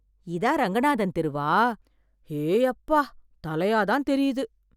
இதான் ரங்கநாதன் தெருவா... ஏயப்பா... தலையாதான் தெரியுது...